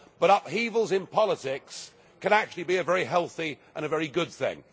But upheavals in politics can actually be a very healthy and a very good thing.